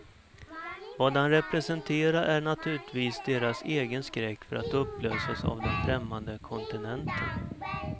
Vad han representerar är naturligtvis deras egen skräck för att upplösas av den främmande kontinenten.